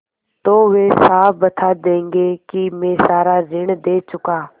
तो वे साफ बता देंगे कि मैं सारा ऋण दे चुका